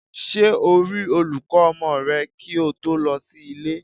Ṣé o rí olùkọ́ ọmọ rẹ kí o tó lọ sí ilé?